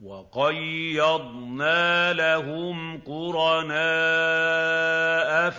۞ وَقَيَّضْنَا لَهُمْ قُرَنَاءَ